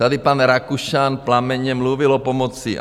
Tady pan Rakušan plamenně mluvil o pomoci.